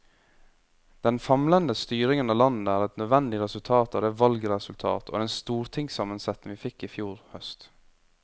Den famlende styringen av landet er et nødvendig resultat av det valgresultat og den stortingssammensetning vi fikk i fjor høst.